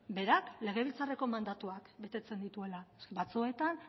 berak legebiltzarreko mandatuak betetzen dituela batzuetan